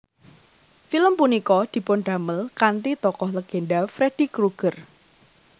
Film punika dipundamel kanthi tokoh legenda Freddy Krueger